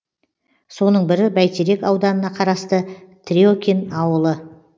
соның бірі бәйтерек ауданына қарасты трекин ауылы